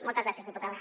moltes gràcies diputada